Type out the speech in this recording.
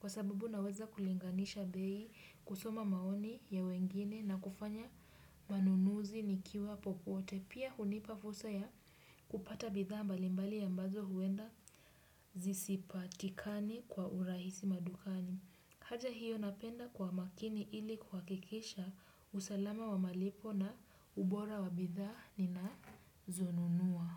Kwa sababu naweza kulinganisha bei, kusoma maoni ya wengine, na kufanya manunuzi nikiwa popote. Pia hunipa fursa ya kupata bidhaa mbalimbali ambazo huenda zisipatikane kwa urahisi madukani. Hata hiyo napenda kuwa makini ili kuhakikisha usalama wa malipo na ubora wa bidhaa ninazonunua.